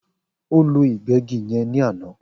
O ló ìgbégí yen ní àná